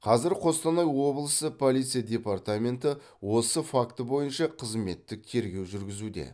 қазір қостанай облысы полиция департаменті осы факті бойынша қызметтік тергеу жүргізуде